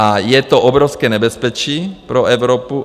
A je to obrovské nebezpečí pro Evropu.